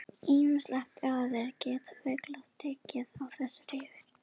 Ýmsar aukaverkanir geta fylgt töku þessara lyfja.